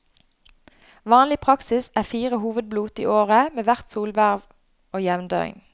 Vanlig praksis er fire hovedblot i året, ved hvert solverv og jevndøgn.